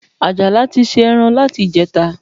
Àjàlá ti se ẹran láti ìjẹta